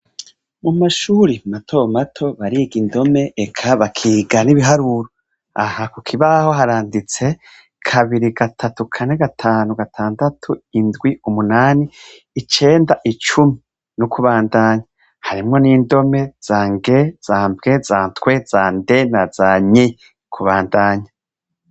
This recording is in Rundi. Mumashure matomato bariga indome eka bakiga ibiharuro aha kukibaho haranditse kabiri , gatatu, Kane, gatanu, gatandatu, indwi, munani, icenda, icumi, no kubandanya harimwo indome za ng,za mbw,za twe, za nd,za ny, kubandanya .